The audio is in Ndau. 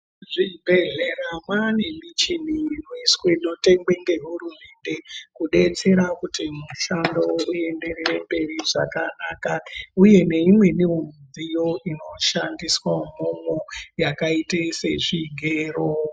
Muzvibhehlera mane muchini inotengeswa nehurumende kudetsera kuti mushando uenderere mberi zvakanaka uye neimweni midziyo inoshandiswamo mo yakaite sezvigero